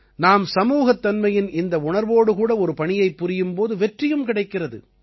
நாம் சமூகத்தன்மையின் இந்த உணர்வோடு கூட ஒரு பணியைப் புரியும் போது வெற்றியும் கிடைக்கிறது